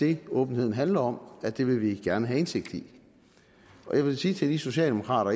det åbenheden handler om at det vil vi gerne have indsigt i og jeg vil sige til de socialdemokrater